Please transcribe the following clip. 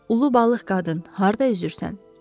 Ulu balıq qadın harda üzürsən?